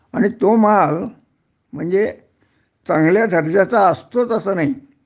आणि तो माल म्हणजे चांगल्या दर्जाचा असतोच असं नाही